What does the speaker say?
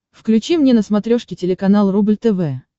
включи мне на смотрешке телеканал рубль тв